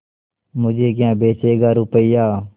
मुझे क्या बेचेगा रुपय्या